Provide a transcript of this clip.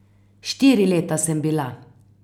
Štiri leta sem bila.